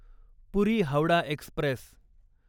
पुरी Howrah Express